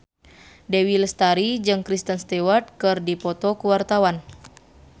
Dewi Lestari jeung Kristen Stewart keur dipoto ku wartawan